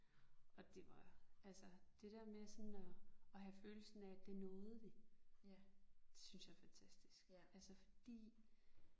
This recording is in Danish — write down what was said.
Og det var altså det der med sådan og og have følelsen af det nåede vi. Det synes jeg er fantastisk altså fordi